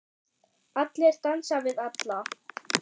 Allir dansa við alla.